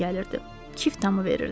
Ondan iyi gəlirdi.